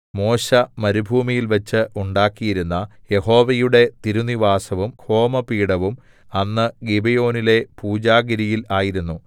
മോശെ മരുഭൂമിയിൽവെച്ചു ഉണ്ടാക്കിയിരുന്ന യഹോവയുടെ തിരുനിവാസവും ഹോമപീഠവും അന്ന് ഗിബെയോനിലെ പൂജാഗിരിയിൽ ആയിരുന്നു